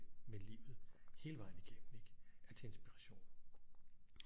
Med livet hele vejen igennem ikke er til inspiration